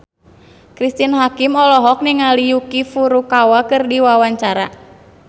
Cristine Hakim olohok ningali Yuki Furukawa keur diwawancara